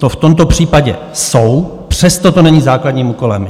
To v tomto případě jsou, přesto to není základním úkolem.